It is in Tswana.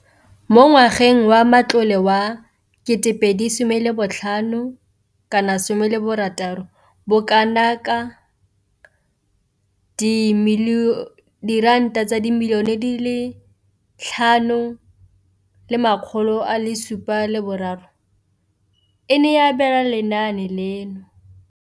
Mo ngwageng wa matlole wa 2015,16, bokanaka R5 703 bilione e ne ya abelwa lenaane leno.